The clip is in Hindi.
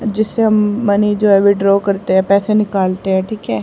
जिससे हम मनीजर विड्रा करते है पैसे निकालते है ठीक है।